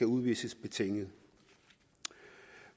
udvises betinget